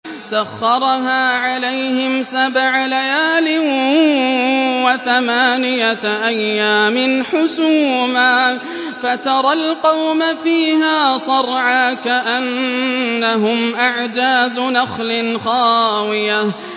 سَخَّرَهَا عَلَيْهِمْ سَبْعَ لَيَالٍ وَثَمَانِيَةَ أَيَّامٍ حُسُومًا فَتَرَى الْقَوْمَ فِيهَا صَرْعَىٰ كَأَنَّهُمْ أَعْجَازُ نَخْلٍ خَاوِيَةٍ